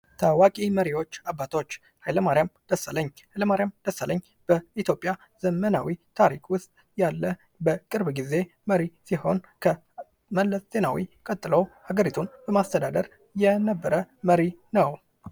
ታዋቂ መሪዎች አባቶች:-ኃይለማርያም ደሳለኝ ፦ኃይለማርያም ደሳለኝ በኢትዮጵያ ዘመናዊ ታሪክ ውስጥ ያለ በቅርብ ጊዜ መሪ ሲሆን ከመለስ ዜናዊ ቀጥለው ሀገሪቱን በማስተዳደር የነበረ መሪ ነው።